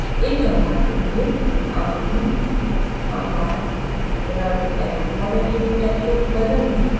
एक compartment में : आकृति आकार रंग एवं border की मोटाई को बदलना